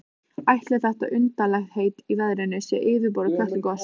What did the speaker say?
Ætli þessi undarlegheit í veðrinu séu fyrirboði Kötlugoss?